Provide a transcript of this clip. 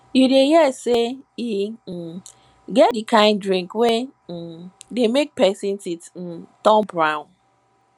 you don hear sey e um get di kind drink wey um dey make pesin teeth um turn brown